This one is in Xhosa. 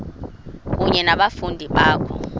kunye nabafundi bakho